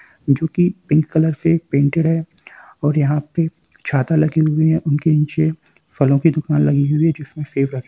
जो कि pink colour से प्रिंटेड है और यहाँ पे छाता लगे हुए हैं उनके नीचे फलो की दुकान लगी हुई हैं जिसमें सेव रखे --